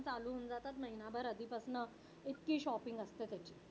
चालू हून जातात महिनाभर आधीपासनं इतकी shopping असते त्याची.